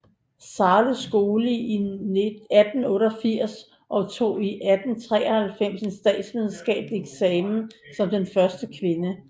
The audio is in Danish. Zahles skole i 1888 og tog i 1893 en statsvidenskabelig eksamen som den første kvinde